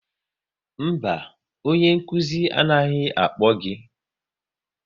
Mba, onye anaghị akpọ gị